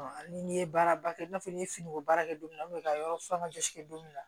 ni n'i ye baaraba kɛ i n'a fɔ n ye finiko baara kɛ don min na ka yɔrɔ fɔ an ka jɔsi kɛ don min na